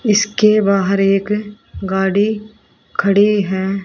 इसके बाहर एक गाड़ी खड़ी है।